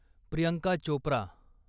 Priyanka Chopra